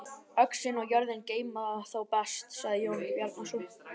Öxin og jörðin geyma þá best, sagði Jón Bjarnason.